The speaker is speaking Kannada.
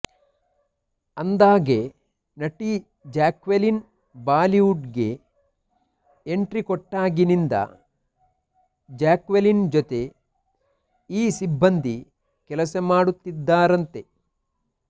ಅಂದ್ಹಾಗೆ ನಟಿ ಜಾಕ್ವೆಲಿನ್ ಬಾಲಿವುಡ್ ಗೆ ಎಂಟ್ರಿ ಕೊಟ್ಟಾಗಿನಿಂದ ಜಾಕ್ವೆಲಿನ್ ಜೊತೆ ಈ ಸಿಬ್ಬಂದಿ ಕೆಲಸ ಮಾಡುತ್ತಿದ್ದಾರಂತೆ